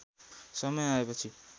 समय आएपछि